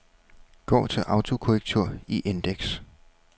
Gå til autokorrektur i indeks.